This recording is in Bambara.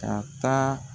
Ka taa